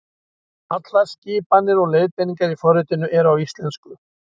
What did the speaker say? Allar skipanir og leiðbeiningar í forritinu eru á íslensku.